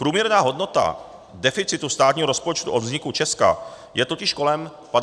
Průměrná hodnota deficitu státního rozpočtu od vzniku Česka je totiž kolem 50 mld.